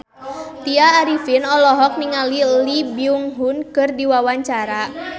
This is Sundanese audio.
Tya Arifin olohok ningali Lee Byung Hun keur diwawancara